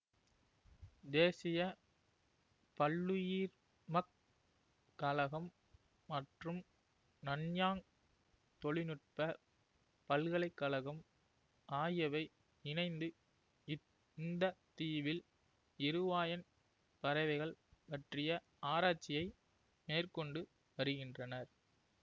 தேசிய பல்லுயிர்மக் கழகம் மற்றும் நன்யாங் தொழில் நுட்ப பல்கலை கழகம் ஆகியவை இணைந்து இத் இந்த தீவில் இருவாயன் பறவைகள் பற்றிய ஆராச்சியை மேற்கொண்டு வருகின்றனர்